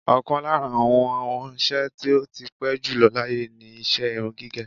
Ọ̀kan lára àwọn nṣe tí ó ti pẹ́ jùlọ láyé ni iṣẹ́ irun gígẹ̀.